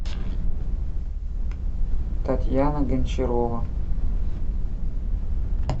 татьяна гончарова